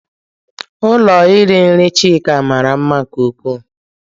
Ụlọ iri nri Chika mara mma nke ukwuu.